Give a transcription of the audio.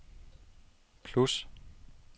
plus